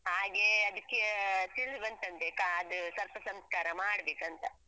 ಹಾಗೆ ಅದಕ್ಕೆ ತಿಳಿದು ಬಂದಂತೆ ಕಾ ಆ ಅದು ಸರ್ಪಸಂಸ್ಕಾರ ಮಾಡ್ಬೇಕಂತ.